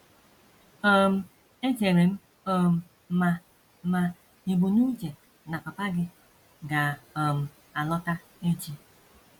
um Echere m um ma ma ì bu n’uche na papa gị ga - um alọta echi. ”